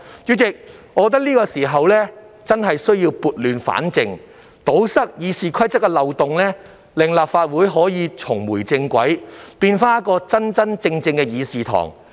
主席，我認為現在是時候撥亂反正，堵塞《議事規則》的漏洞，令立法會重回正軌，回復其議事堂真正應有的面貌。